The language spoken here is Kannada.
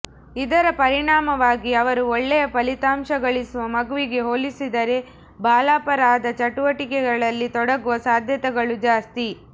ಇದರ ಪರಿಣಾಮವಾಗಿ ಅವರು ಒಳ್ಳೆಯ ಫಲಿತಾಂಶ ಗಳಿಸುವ ಮಗುವಿಗೆ ಹೋಲಿಸಿದರೆ ಬಾಲಾಪರಾಧ ಚಟುವಟಿಕೆಗಳಲ್ಲಿ ತೊಡಗುವ ಸಾಧ್ಯತೆಗಳು ಜಾಸ್ತಿ